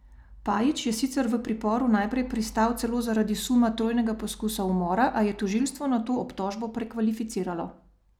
Pajić je sicer v priporu najprej pristal celo zaradi suma trojnega poskusa umora, a je tožilstvo nato obtožbo prekvalificiralo.